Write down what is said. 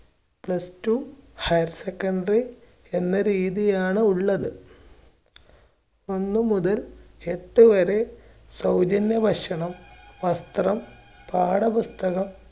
plus two higher secondary എന്ന രീതിയിലാണ് ഉള്ളത്. ഒന്ന് മുതൽ എട്ട് വരെ സൗജന്യ ഭക്ഷണം, വസ്ത്രം, പാഠപുസ്തകം